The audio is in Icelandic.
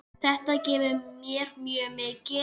Þetta gefur mér mjög mikið.